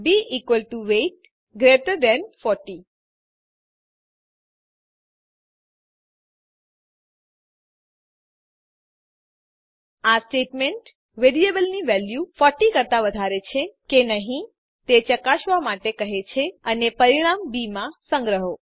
B equal to weight greater than 40 આ statement વેરિયેબલની value ૪૦ કરતા વધારે છે કે નહી તે ચેક કરવા માટે કહે છે અને પરિણામ બી માં સંગ્રહો